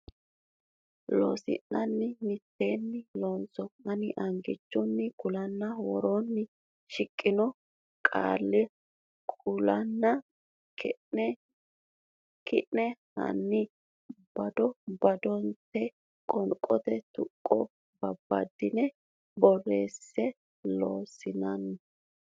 Loossinanni mitteenni loonso Ani angichunni Konni woroonni shiqqino qaalla kulanna ki ne hanni bado badotenni qoonqote tuqqonni babbaddine borreesse Loossinanni.